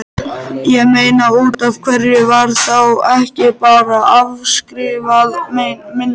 Ég meina, útaf hverju var þá ekki bara afskrifað minna?